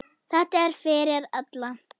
Þetta er fyrir alla.